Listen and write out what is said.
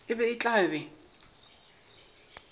e be e tla be